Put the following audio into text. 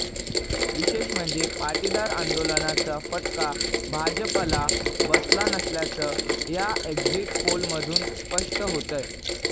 विशेष म्हणजे पाटीदार आंदोलनाचा फटका भाजपला बसला नसल्याचं या एक्झिट पोलमधून स्पष्ट होतंय